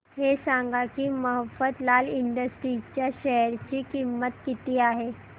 हे सांगा की मफतलाल इंडस्ट्रीज च्या शेअर ची किंमत किती आहे